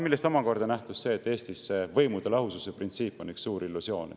Sellest omakorda nähtus see, et Eestis on võimude lahususe printsiip üks suur illusioon.